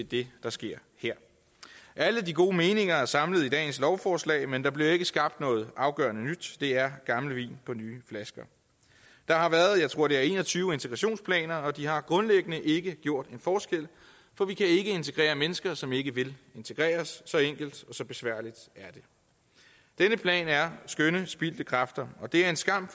det der sker her alle de gode meninger er samlet i dagens lovforslag men der bliver ikke skabt noget afgørende nyt det er gammel vin på nye flasker der har været jeg tror det er en og tyve integrationsplaner og de har grundlæggende ikke gjort en forskel for vi kan ikke integrere mennesker som ikke vil integreres så enkelt og så besværligt er det denne plan er skønne spildte kræfter og det er en skam